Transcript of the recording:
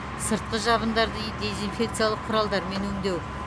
сыртқы жабындарды дезинфекциялық құралдармен өңдеу